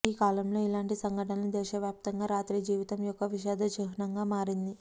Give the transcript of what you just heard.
ఈ కాలంలో ఇలాంటి సంఘటనలు దేశవ్యాప్తంగా రాత్రి జీవితం యొక్క విషాద చిహ్నంగా మారింది